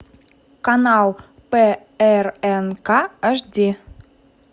канал прнк аш ди